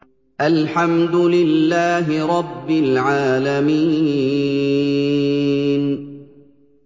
الْحَمْدُ لِلَّهِ رَبِّ الْعَالَمِينَ